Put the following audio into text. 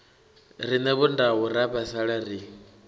rine vhondau ra vhaisala ri